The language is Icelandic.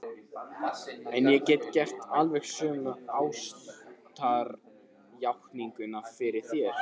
En ég get gert alveg sömu ástarjátninguna fyrir þér.